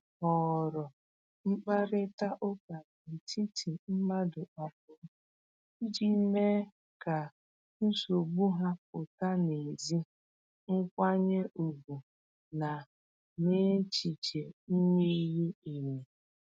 Ha họọrọ mkparịta ụka n’etiti mmadụ abụọ iji mee ka nsogbu ha pụta n’ezi nkwanye ùgwù na n’echiche miri emi.